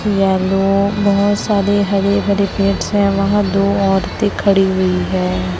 Yellow बहोत सारे हरे हरे पेड़ से हैं वहां दो औरतें खड़ी हुई हैं।